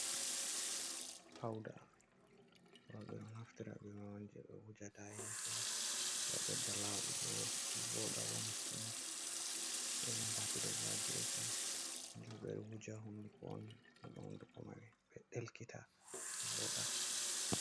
Pauda roɓɓe ɗon naftira be majum je ɓe wujata ha yesso heɓa ɓedda laɓugo, voɗa, wona sumata, sei jambaki do bo ha gefe je ɓeɗo wuja ha hunduko on heɓa hunduko mai ɗelkiti, voɗa.